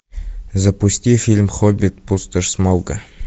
запусти фильм хоббит пустошь смауга